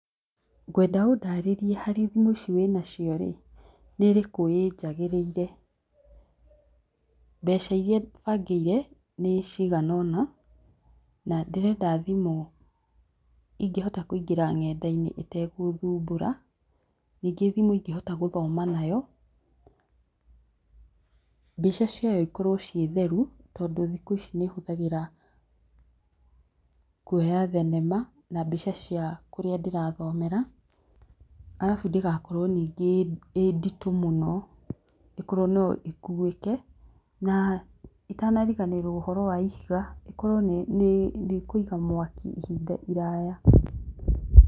Ngwenda ũndarĩrie harĩ thimũ ici wĩnacio rĩ, nĩrĩkũ ĩnjagĩrĩire. Mbeca iria bangĩire nĩcigana ũna, nandĩrenda thimũ ingĩ hota kũingĩra nenda-inĩ ĩtagũthumbũra. Nyingĩ thimũ ingĩhota gũthoma nayo, mbica ciayo cikorwo itheru, tondũ thikũ ici nĩhũthagĩra kwoya thenema na mbica ciakũrĩa ndĩrathomera. Arabu ndĩgakorwo nyingĩ ĩnditũ mũno ikorwo no ngũĩte na itanariganĩrwo ũhoro wa ihiga, ĩkorwo nĩ ĩkũiga mwaki ihinda iraya.